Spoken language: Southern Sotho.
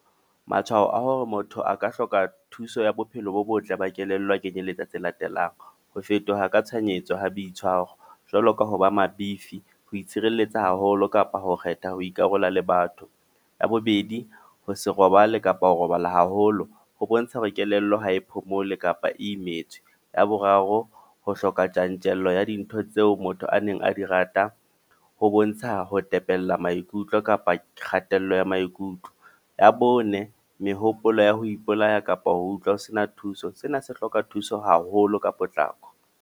Matshwao a hore motho a ka hloka thuso ya bophelo bo botle ba kelello a kenyelletsa tse latelang. Ho fetoha ka tshohanyetso ha boitshwaro. Jwalo ka ha ba mabifi, ho itshireletsa haholo kapa ho kgetha ho ikarola le batho. Ya bobedi, ho se robale, kapa ho robala haholo. Ho bontsha hore kelello ha e phomole kapa Imetswe. Ya boraro, ho hloka tjantjello ya dintho tseo motho a neng a di rata. Ho bontsha ho tepella maikutlo kapa kgatello ya maikutlo. Ya bone, mehopolo ya ho ipolaya kapa ho utlwa ho sena thuso. Sena se hloka thuso haholo ka potlako.